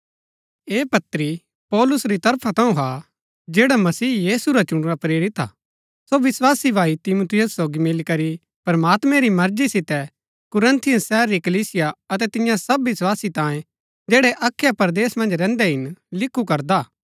ऐह पत्री पौलुस री तरफा थऊँ हा जैड़ा मसीह यीशु रा चुणुरा प्रेरित हा सो विस्वासी भाई तिमुथियुस सोगी मिलीकरी प्रमात्मैं री मर्जी सितै कुरिन्थुस शहर री कलीसिया अतै तियां सब विस्वासी तांये जैड़ै अखया परदेस मन्ज रैहन्दै हिन लिखु करदा कि